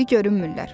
İndi görünmürlər.